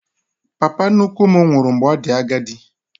Papa nnukwu m nwụrụ mgbe ọ dị agadi